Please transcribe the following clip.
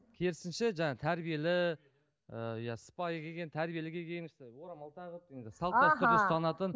керісінше жаңа тәрбиелі ы иә сыпайы келген тәрбиелі киген орамал тағып енді салт дәстүр ұстанатын